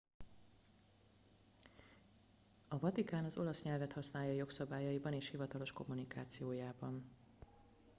a vatikán az olasz nyelvet használja jogszabályaiban és hivatalos kommunikációjában